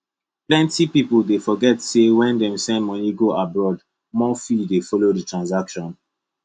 plenty people dey forget say when dem send money go abroad more fee dey follow the transaction